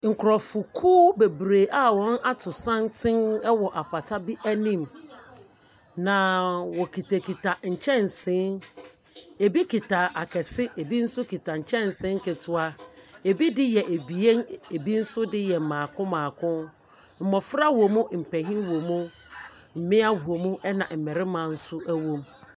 Nkorɔfokuw bebree a wɔn ato santen wɔ pata bi anim. Na wokitakita nkyɛnse, ɛbi kita akɛse, ɛna ɛbi nso kita nkyɛnse nketewa, ɛbi de yɛ abien, ɛbi nso de yɛ maako maako. Mmofra wom, mpanin wom, mmea wom ɛna mmarina nso wom.